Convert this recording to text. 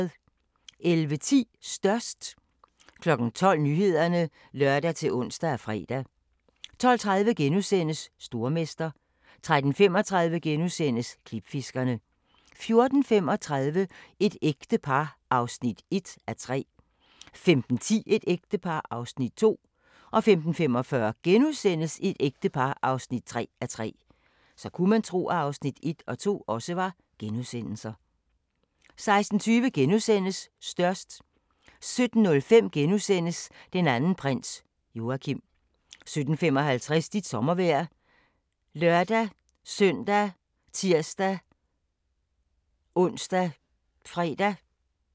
11:10: Størst 12:00: Nyhederne (lør-ons og fre) 12:30: Stormester * 13:35: Klipfiskerne * 14:35: Et ægte par (1:3) 15:10: Et ægte par (2:3) 15:45: Et ægte par (3:3)* 16:20: Størst * 17:05: Den anden prins - Joachim * 17:55: Dit sommervejr ( lør-søn, tir-ons, -fre)